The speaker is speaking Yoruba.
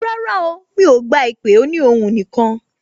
Rárá o, mi ò gba ìpè òní ohùn nìkan